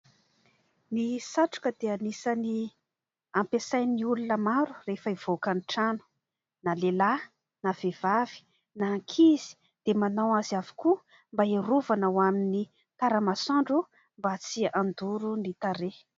Ny satroka dia anisany ampiasain'ny olona maro rehefa hivoaka ny trano ; na lehilahy na vehivavy na ankizy dia manao azy avokoa mba iarovana ho amin'ny tara-masoandro mba tsy handoro ny tarehy.